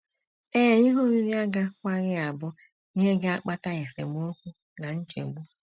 Ee, ihe oriri agakwaghị abụ ihe ga - akpata esemokwu na nchegbu.